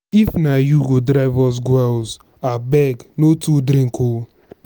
if na you go drive us go house abeg no too drink oo.